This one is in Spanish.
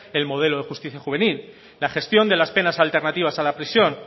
el modelo de justicia juvenil la gestión de las penas alternativas a la prisión